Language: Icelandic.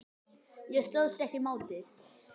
Ég stóðst ekki mátið